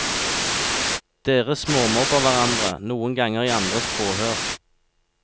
Dere småmobber hverandre, noen ganger i andres påhør.